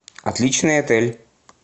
отличный отель